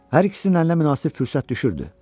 Hər ikisinin əlinə münasib fürsət düşürdü.